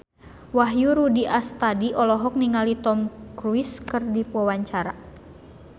Wahyu Rudi Astadi olohok ningali Tom Cruise keur diwawancara